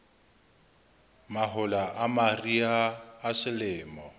mahola a mariha a selemo